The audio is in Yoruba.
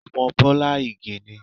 Ọmọ Bọ́lá Ìgè ni.